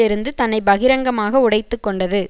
இருந்து தன்னை பகிரங்கமாக உடைத்து கொண்டது